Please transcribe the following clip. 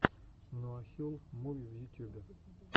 нуахюл муви в ютюбе